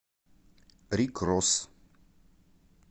рик росс